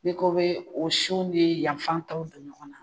N'i ko bɛ o sun ni yan fan tɔw don ɲɔgɔnna